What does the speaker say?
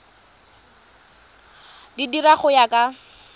di dira go ya ka